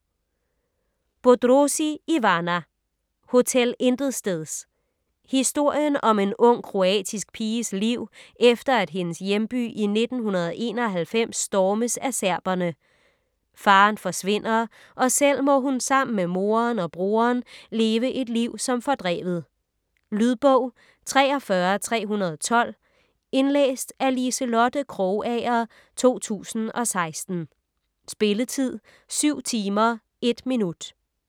Bodrozi, Ivana: Hotel Intetsteds Historien om en ung kroatisk piges liv efter at hendes hjemby i 1991 stormes af serberne. Faderen forsvinder, og selv må hun sammen med moderen og broderen leve et liv som fordrevet. Lydbog 43312 Indlæst af Liselotte Krogager, 2016. Spilletid: 7 timer, 1 minutter.